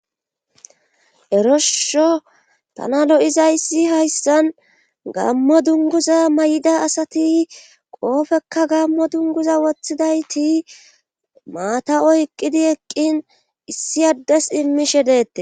Eroshsho tana lo'izayissi hayssan gammo dunguza may'ida asati qoofekka gammo dunguza woththidayti maata o eqqidi eqqin issi addes immishe deette.